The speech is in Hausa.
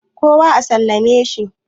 kowa a sallame shi?